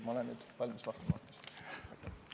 Ma olen nüüd valmis küsimustele vastama.